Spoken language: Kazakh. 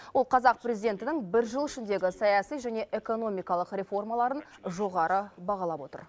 ол қазақ президентінің бір жыл ішіндегі саяси және экономикалық реформаларын жоғары бағалап отыр